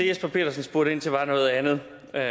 jesper petersen spurgte ind til var noget andet